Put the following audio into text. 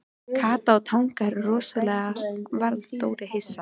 Kata í Tanga Rosalega varð Dóri hissa.